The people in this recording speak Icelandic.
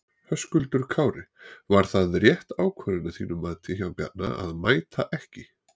Höskuldur Kári: Var það rétt ákvörðun að þínu mati hjá Bjarna að mæta ekki?